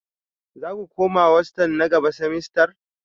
Za ku koma hostel na gaba semester?